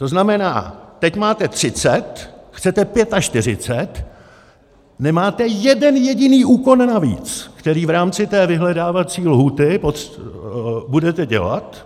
To znamená, teď máte 30, chcete 45, nemáte jeden jediný úkon navíc, který v rámci té vyhledávací lhůty budete dělat.